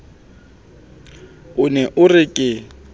o ne o re ke